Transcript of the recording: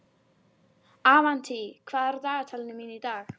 Einmitt, einmitt, þú ert skýr strákur.